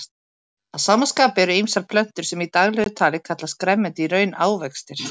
Að sama skapi eru ýmsar plöntur sem í daglegu tali kallast grænmeti í raun ávextir.